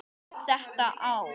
Átta ár.